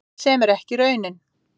Sem er ekki raunin